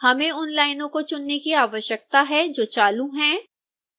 हमें उन लाइनों को चुनने की आवश्यकता है जो चालू हैं